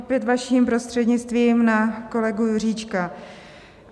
Opět, vaším prostřednictvím, na kolegu Juříčka.